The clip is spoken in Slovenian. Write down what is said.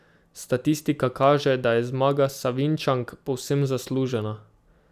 Statistika kaže, da je zmaga Savinjčank povsem zaslužena.